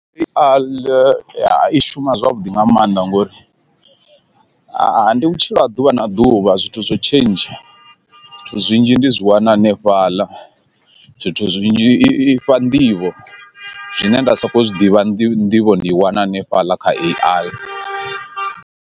I a ḽe i shuma zwavhuḓi nga maanḓa ngori ndi vhutshilo ha ḓuvha na ḓuvha zwithu zwo tshentsha, zwinzhi ndi zwi wana hanefhaḽa zwithu zwinzhi i fha nḓivho zwine nda sokou zwi ḓivha ndi nḓivho ndi i wana hanefhaḽa kha A_I.